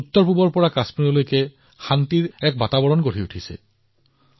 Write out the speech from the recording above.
উত্তৰপূৰ্বাঞ্চলৰ পৰা কাশ্মীৰলৈকে শান্তি আৰু উন্নয়নৰ এক নতুন আত্মবিশ্বাস জাগ্ৰত হৈছে